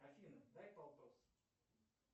афина дай полтос